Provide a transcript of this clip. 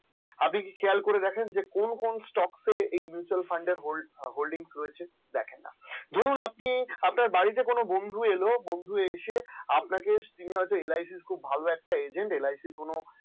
আপনি কি খেয়াল করে দেখেন কোন কোন stock এই mutual funds holding রয়েছে দেখেন না ধরুন ধরুন আপনার বাড়িতে কোন বন্ধু এলো বন্ধু এসে আপনাকে LIC খুব ভালো একটা agent